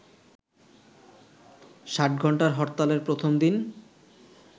ষাটঘন্টার হরতালের প্রথম দিন